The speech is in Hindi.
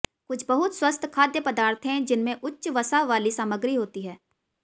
कुछ बहुत स्वस्थ खाद्य पदार्थ हैं जिनमें उच्च वसा वाली सामग्री होती है